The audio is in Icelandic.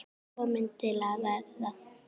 Kominn til að vera.